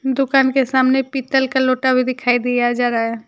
दुकान के सामने पीतल का लोटा भी दिखाई दिया जा रहा है।